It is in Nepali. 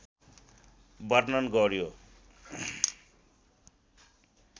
वर्णन गर्‍यो।